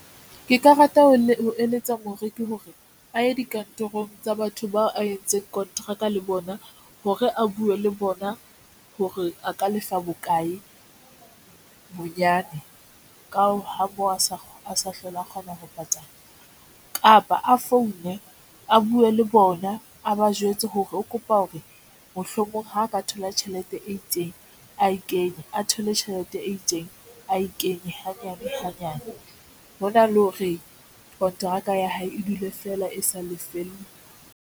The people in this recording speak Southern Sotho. Ke ka rata ho ne ho eletsa moreki hore a ye dikantorong tsa batho bao a entseng kontraka le bona hore a buwe le bona, hore a ka lefa bokae bonyane ka ha moo a sa hlola, a kgona ho patala kapa a foune, a buwe le bona a ba jwetse hore o kopa hore mohlomong ha a ka thola tjhelete e itseng a e kenye a thole tjhelete e itseng ae kenye hanyane hanyane hona le hore kontraka ya hae e dule feela e sa lefellwe.